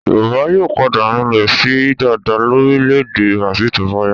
Yorùbá yóò padà rinlẹ̀ síi dáadáa lórílẹ̀-èdè Brazil tó bá yá.